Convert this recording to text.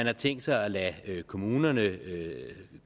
har tænkt sig at lade kommunerne